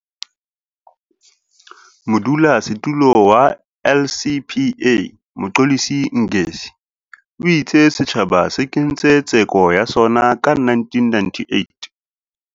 Modulasetulo wa LCPA, Mxolisi Ngesi, o itse setjhaba se kentse tseko ya sona ka 1998.